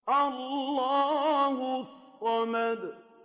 اللَّهُ الصَّمَدُ